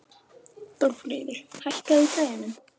Þórfríður, hækkaðu í græjunum.